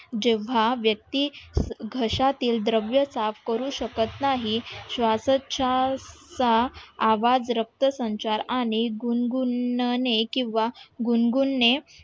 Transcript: जेव्हा व्यक्ती घशातील द्रव्य साफ करू शकत नाही श्वासोच्छवासाचा आवाज रक्त संचार आणि गुणगुण ने किंवा गुणगुण ने